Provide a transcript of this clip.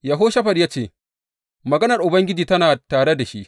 Yehoshafat ya ce, Maganar Ubangiji tana tare da shi.